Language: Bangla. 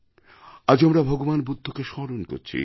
আজ আমরা ভগবান বুদ্ধকে স্মরণ করছি